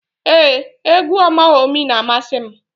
Ee, égwú Ọmawumi na-amasị m.